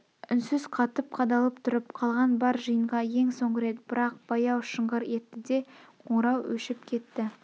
үнсіз қатып қадалып тұрып қалған бар жиынға ең соңғы рет бірақ баяу шыңғыр етті де қоңырау өшіп кетті